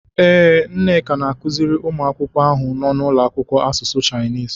Ee, Nneka na-akụziri ụmụ akwụkwọ ahụ nọ n'ụlọakwụkwọ asụsụ Shainis.